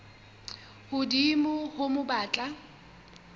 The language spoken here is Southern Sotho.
hodimo ho moo ba tla